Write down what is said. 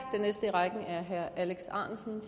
herre alex ahrendtsen